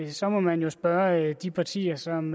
så må man jo spørge de partier som